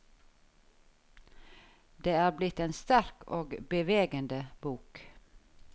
Det er blitt en sterk og bevegende bok.